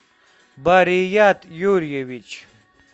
барият юрьевич